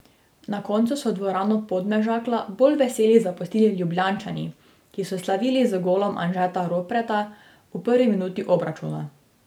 Na koncu so dvorano Podmežakla bolj veseli zapustili Ljubljančani, ki so slavili z golom Anžeta Ropreta v prvi minuti obračuna.